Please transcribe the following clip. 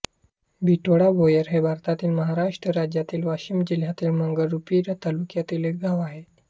बिटोडा भोयर हे भारतातील महाराष्ट्र राज्यातील वाशिम जिल्ह्यातील मंगरुळपीर तालुक्यातील एक गाव आहे